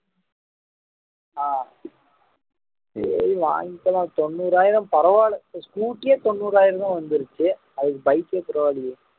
ஆஹ் சரி வாங்கிக்கலாம் தொண்ணூறாயிரம் பரவாயில்லை இப்ப scooty ஏ தொண்ணூறாயிரம்தான் வந்துருச்சு அதுக்கு bike ஏ பரவாயில்லையே